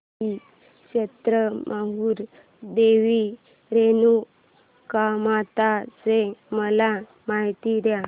श्री क्षेत्र माहूर देवी रेणुकामाता ची मला माहिती दे